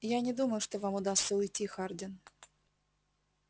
я не думаю что вам удастся уйти хардин